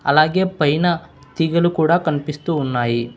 అలాగే పైన తీగలు కూడా కనిపిస్తూ ఉన్నాయి.